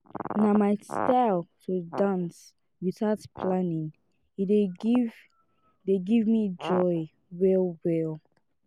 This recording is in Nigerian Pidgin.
na my style to dance without planning e dey give dey give me joy well-well.